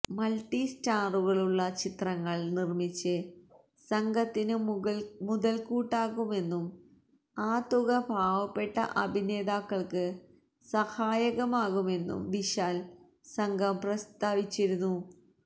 multi സ്റ്റാറുകളുള്ള ചിത്രങ്ങള് നിര്മ്മിച്ച് സംഘത്തിനു മുതല്ക്കൂട്ടാക്കുമെന്നും ആ തുക പാവപ്പെട്ട അഭിനേതാക്കള്ക്ക് സഹായകമാകുമെന്നും വിശാല് സംഘം പ്രസ്താവിച്ചിരുന്നു